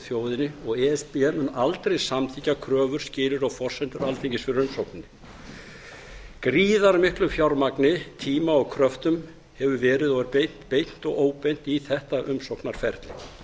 þjóðinni og e s b mun aldrei samþykkja kröfur skilyrði og forsendur alþingis fyrir umsókninni gríðarmiklu fjármagni tíma og kröftum hefur verið og er beint beint og óbeint í þetta umsóknarferli